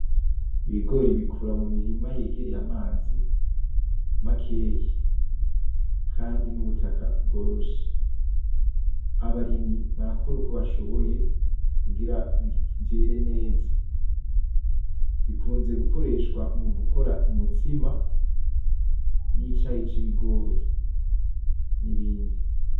Ibigori bikura mu mirima yegereye amazi makeyi kandi n'ubutaka bworoshe abarimyi barakora uko bashoboye kugira vyere neza bikunze gukoreshwa mugukora umutsima n'icayi c'ibigori n'ibindi.